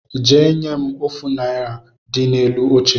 Jee nye m afụ naira dị n’elu oche